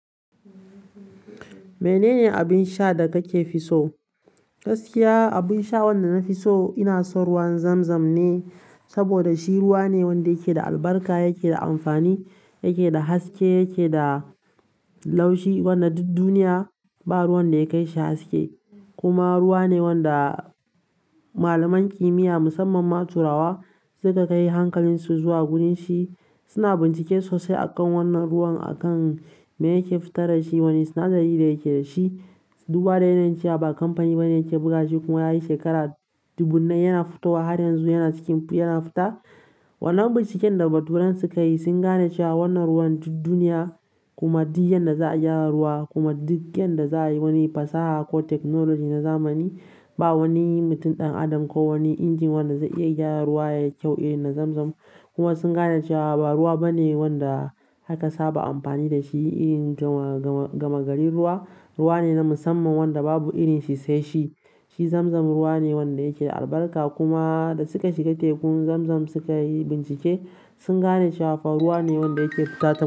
Menene abin sha da kake fi so? Gaskiya, abin sha wanda na fi so ina son ruwan Zamzam ne saboda shi ruwa ne wanda yake da albarka, yake da amfani, yake da haske, yake da laushi wanda duk duniya ba ruwan da ya kai shi haske. Kuma ruwane wanda malaman qimiya musamman ma turawa suka kai hankalin su zuwa wurin shi suna bincike sosai akan wannan ruwan, akan me yake fitar da shi, wane sinadari da yake da shi. Ruwa ne zance ba a kamfani ke buga shi kuma yayi shekara dubunnai yana fitowa har yanzu yana ciki yana fita. Wannan binciken da baturan suka yi sun gane cewa wannan ruwan duk duniya kuma duk yanda za'a gyara ruwa kuma duk yanda za'a yi wani fasaha ko technology na zamani ba wani mutum ɗan adam ko wani inji wanda zai iya gyara ruwa yayi kyau irin na Zamzam. Kuma sun gane cewa ba ruwa bane wanda aka saba amfani dashi irin gama gari ruwa. Ruwa ne na musamman wanda babu irin shi sai shi. Shi Zamzam ruwa ne wanda yake da albarka kuma da suka shiga tekun Zamzam suka yi bincike sun gane cewa fa ruwa ne wanda yake fitata.